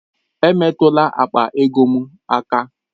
Emetụla akpa ego m aka!